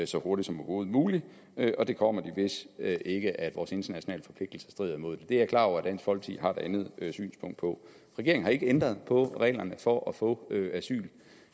så hurtigt som overhovedet muligt og det kommer de hvis ikke vores internationale forpligtelser strider imod det er jeg klar over at dansk folkeparti andet synspunkt på regeringen har ikke ændret på reglerne for at få asyl